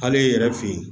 Hali i yɛrɛ fe yen